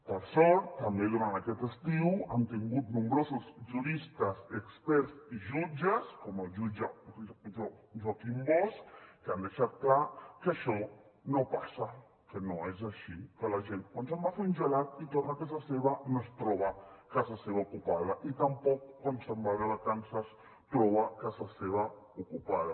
per sort també durant aquest estiu hem tingut nombrosos juristes experts i jutges com el jutge joaquim bosch que han deixat clar que això no passa que no és així que la gent quan se’n va a fer un gelat i torna a casa seva no es troba casa seva ocupada i tampoc quan se’n va de vacances troba casa seva ocupada